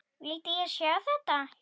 Vildi ég sjá þetta?